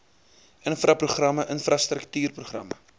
infra programme infrastruktuurprogramme